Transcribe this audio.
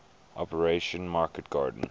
operation market garden